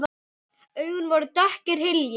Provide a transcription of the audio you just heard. Augun voru dökkir hyljir.